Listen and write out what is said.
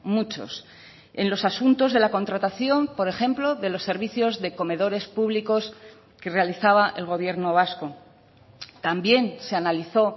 muchos en los asuntos de la contratación por ejemplo de los servicios de comedores públicos que realizaba el gobierno vasco también se analizó